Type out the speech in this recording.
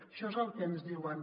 això és el que ens diuen